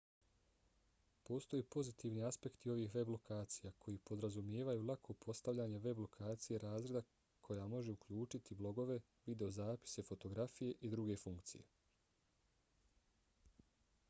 postoje pozitivni aspekti ovih web lokacija koji podrazumijevaju lako postavljanje web lokacije razreda koja može uključivati blogove videozapise fotografije i druge funkcije